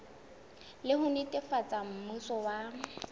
le ho netefatsa mmuso wa